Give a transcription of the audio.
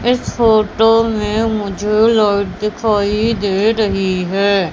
इस फोटो में मुझे लाइट दिखाई दे रही है।